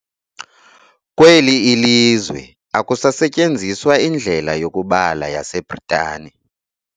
Kweli ilizwe akusasetyenziswa indlela yokubala yaseBritani.